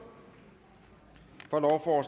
for